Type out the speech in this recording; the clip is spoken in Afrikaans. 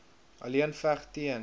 alleen veg teen